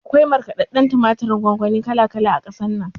Akwai markaɗadɗen tumaturin gongoni kala kala a ƙasar nan